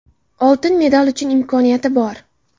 Oltin medal uchun imkoniyati bor.